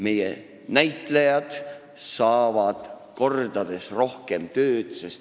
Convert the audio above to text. Meie näitlejad saavad kordades rohkem tööd.